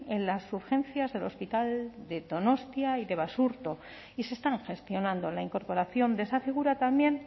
en las urgencias del hospital de donostia y de basurto y se están gestionando la incorporación de esa figura también